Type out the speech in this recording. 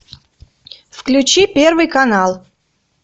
включи первый канал